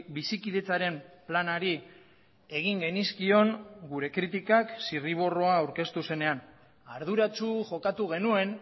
bizikidetzaren planari egin genizkion gure kritikak zirriborroa aurkeztu zenean arduratsu jokatu genuen